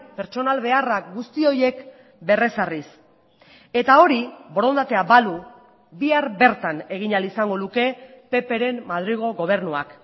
pertsonal beharrak guzti horiek berrezarriz eta hori borondatea balu bihar bertan egin ahal izango luke ppren madrilgo gobernuak